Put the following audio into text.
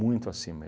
muito acima.